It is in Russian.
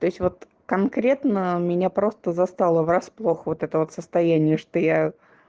то есть вот конкретно меня просто застало врасплох вот этого состояние что я